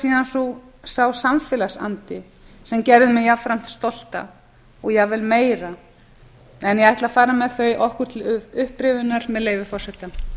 síðan sá samfélagsandi sem gerði mig jafnframt stolta og jafnvel meira ég ætla að fara með þau okkur til upprifjunar með leyfi forseta